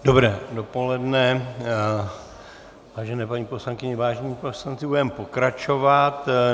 Dobré dopoledne, vážené paní poslankyně, vážení poslanci, budeme pokračovat.